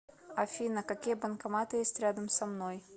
афина какие банкоматы есть рядом со мной